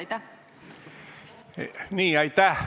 Aitäh!